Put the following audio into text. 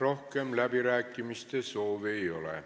Rohkem läbirääkimiste soovi ei ole.